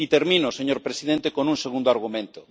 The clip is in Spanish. Y termino, señor presidente, con un segundo argumento.